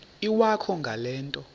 iwakho ngale nto